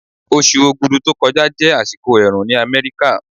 Oṣù Ogudu tó kọjá jẹ́ àsìkò ẹ̀rùn ní Amẹ́ríkà.